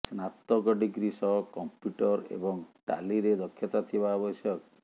ସ୍ନାତକ ଡିଗ୍ରୀ ସହ କମ୍ପ୍ୟୁଟର ଏବଂ ଟାଲିରେ ଦକ୍ଷତା ଥିବା ଆବଶ୍ୟକ